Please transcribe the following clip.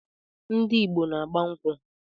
Ndị Igbo n-agba nkwụ.